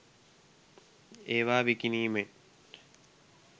ඒවා විකිණීමෙන්